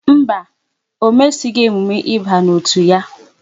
Mba, ọ mesighi emume ịba n'otu ya